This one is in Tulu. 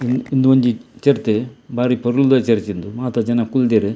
ಉಂದು ಒಂಜಿ ಚರ್ಚ್ ಬಾರಿ ಪೊರ್ಲುದ ಚರ್ಚ್ ಉಂದು ಮಾತ ಜನ ಕುಲ್ದೆರ್.